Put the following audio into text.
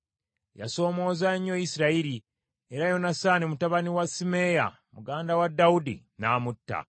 Yasoomooza nnyo Isirayiri, era Yonasaani mutabani wa Simeeyi, muganda wa Dawudi n’amutta.